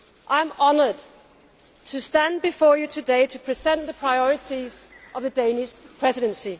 I am honoured to stand before you today to present the priorities of the Danish Presidency.